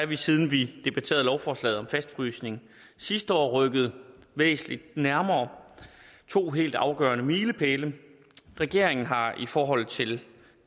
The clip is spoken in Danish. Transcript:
vi siden vi debatterede lovforslaget om fastfrysning sidste år rykket væsentlig nærmere to helt afgørende milepæle regeringen har i forhold til